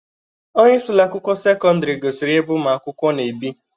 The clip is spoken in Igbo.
Onyeisi Ụlọ akwụkwọ sekọndrị gosiri ya ebe ụmụ akwụkwọ na-ebi.